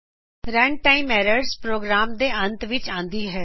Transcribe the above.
run time errors program ਦੇ ਅੰਤ ਵਿਚ ਆਂਦੀ ਹੈ